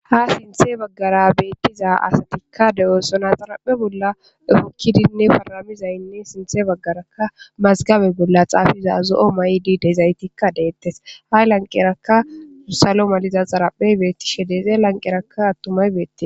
ha sinthe baggara beettiza asatikka deesona xaraphe bolla hokkidinne paramizaynne sinthe baggaraka mazgabe bolla xaafiza zo7o may7di dezaytikka deettes hay lanqerakka salo maliza xaraphe beettishe deze lanqerakka attumay beettie